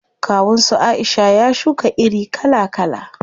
Kawun su Aisha ya shuka iri kala kala.